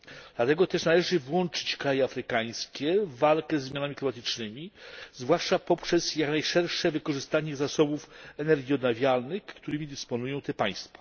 Dlatego też należy włączyć kraje afrykańskie w walkę ze zmianami klimatycznymi, zwłaszcza poprzez jak najszersze wykorzystanie zasobów energii odnawialnych, którymi dysponują te państwa.